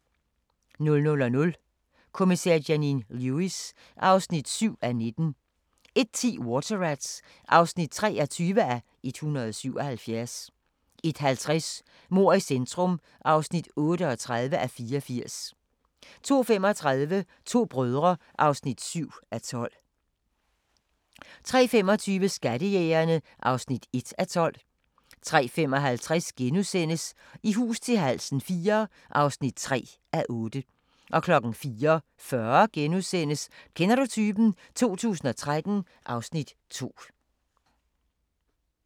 00:00: Kommissær Janine Lewis (7:19) 01:10: Water Rats (23:177) 01:50: Mord i centrum (38:84) 02:35: To brødre (7:12) 03:25: Skattejægerne (1:12) 03:55: I hus til halsen IV (3:8)* 04:40: Kender du typen? 2013 (Afs. 2)*